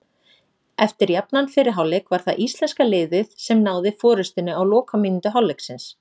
Eftir jafnan fyrri hálfleik var það íslenska liðið sem náði forystunni á lokamínútu hálfleiksins.